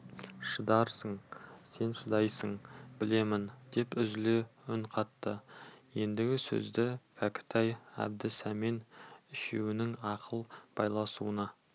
шыдарсың сен шыдайсың білемін деп үзіле үн қатты ендігі сөзді кәкітай әбді сәмен үшеуінің ақыл байлауына